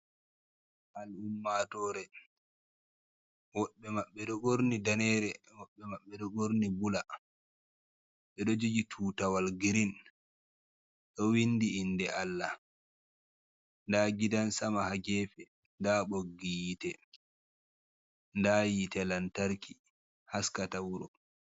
Ummatore woɓɓe maɓɓe ɗo ɓorni danere woɓɓe maɓɓe ɗo ɓorni bula ɓeɗo jogi tutawal girin ɗo windi inde Allah nda gidan sama ha gefe nda ɓoggi hite nda hite lantarki haska ta wuro.